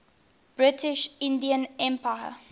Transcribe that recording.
british indian empire